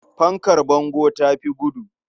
Fankar bango ta fi gudu.